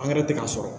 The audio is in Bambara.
Angɛrɛ tɛ k'a sɔrɔ